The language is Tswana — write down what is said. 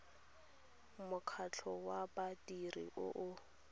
mokgatlho wa badiri o o